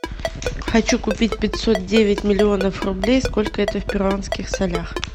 хочу купить пятьсот девять миллионов рублей сколько это в перуанских солях